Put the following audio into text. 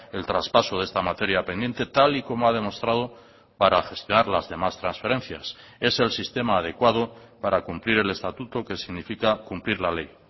el traspaso de esta materia pendiente tal y como ha demostrado para gestionar las demás transferencias es el sistema adecuado para cumplir el estatuto que significa cumplir la ley